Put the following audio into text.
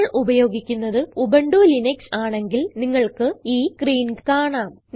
നിങ്ങൾ ഉപയോഗിക്കുന്നത് Ubuntu Linux ആണെങ്കിൽ നിങ്ങൾക്ക് ഈ സ്ക്രീൻ കാണാം